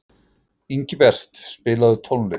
Ingibert, spilaðu tónlist.